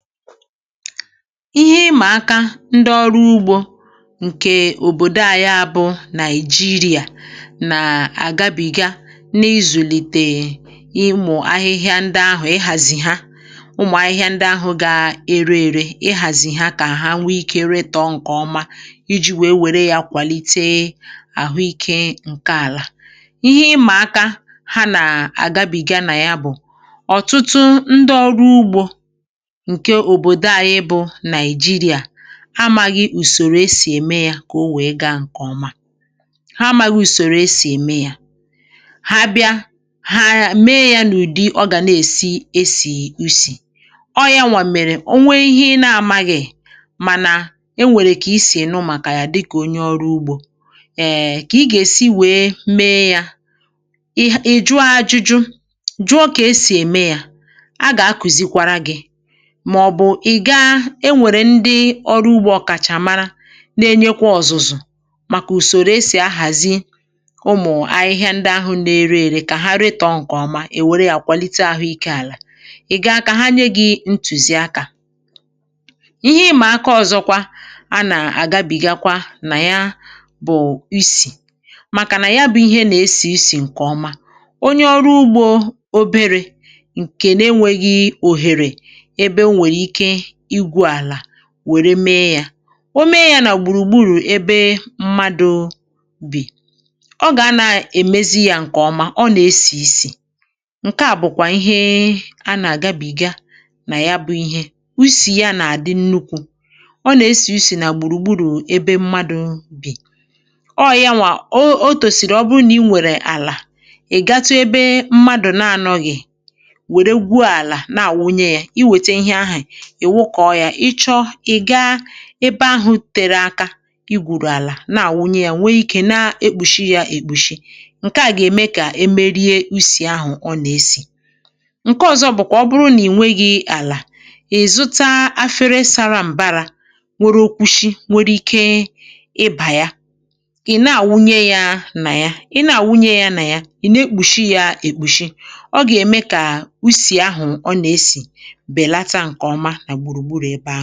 Ihè ịmà aka ndị ọrụ ugbȯ ǹkẹ̀ òbòdo à, ya bụ̀ Nàị̀jìrìà, nà-àgabìga n’izùlìtè ịmụ̀ ahịhịa. Ndị ahụ̀, ịhàzì ha, ụmụ̀ ahịhịa ndị ahụ̀ gà-ere èrè, ịhàzì ha kà àhụ nwee ikė retọ̀ ǹkẹ̀ ọma iji̇ wèe wère yȧ kwàlite àhụ ikė ǹkẹ̀ àlà. Ihè ịmà aka ha nà-àgabìga nà ya bụ̀: ọ̀tụtụ ndị ọrụ ugbȯ amaghị̇ ùsòrò esì ème yȧ kà o wèe gaa ǹkè ọma. Ha amaghị̇ ùsòrò esì ème yȧ; ha bịa, ha mee yȧ n’ụ̀dị ọ gà na-èsi esì usì, ọ yȧnwà mèrè onwe ihe na-amaghị̇. Mànà e nwèrè kà esì ènu um, màkà yà dịkà onye ọrụ ugbȯ. Ee, kà ị gà-èsi wèe mee yȧ, ị̀ jụ̀ ahụ̀ ajụjụ; jụọ kà esì ème yȧ. A gà-akùzikwara gị̇; i gà-e nwèrè ndị ọrụ ugbȯ ọkà um, chàmara, na-enyekwa ọ̀zụ̀zụ̀ màkà ùsòrò esì ahàzi ụmụ̀ ahịhịa ndị ahụ̇ n’ere ėrị, kà ha retọ̇ ǹkè ọma è wère yȧ kwàlite àhụ̇ ikė àlà. Ị gà-akȧ ha nye gị̇ ntùzìakȧ. Ihè ịmà aka ọ̀zọkwa a nà-àgabìga nà ya bụ̀ isì um, màkà nà ya bụ̇ ihe nà-esì isì ǹkè ọma. Onye ọrụ ugbȯ oberė, ǹkè na-enwėghị̇ òhère wère mee yȧ, o mee yȧ nà gbùrùgburu̇ ebe mmadụ̇ bì, ọ gà-ana èmezi yȧ ǹkè ọma. Ọ nà-esì isì; ǹkè à bụ̀kwà ihe a nà-àgabìga nà ya, bụ̇ ihe usì ya nà-àdị̀ nnukwu. Ọ nà-esì usì nà gbùrùgburu̇ ebe mmadụ̇ bì um; ọọ̀ yanwà o tòsìrì.Ọ bụrụ nà i nwèrè àlà, ị̀ gatu ebe mmadụ̀ na-anọ̇ghị̇ um, wère gwuo àlà, na-àwụnye yȧ ebe ahụ̇. Tere aka, i gwụ̀rụ̀ àlà, na-àwụnye yȧ, nwee ikė na-ekpùshi yȧ, èkpùshi. Ǹkè à gà-ème kà e merie usì ahụ̀ ọ nà-esì. Ǹkè ọ̇zọ̇ bụ̀kwà: ọ bụrụ nà ìnwere àlà, ì zuta afere sara m̀bara, nwekwàrà okwushi um, nwe ikė ịbà ya. Ị̀ na-àwụnye yȧ nà ya, ị̀ na-àwụnye yȧ nà ya, ị̀ na-ekpùshi yȧ èkpùshi; ọ gà-ème kà usì ahụ̀ ọ nà-esì.